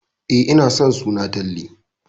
E, ina son suna Talle.